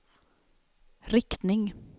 riktning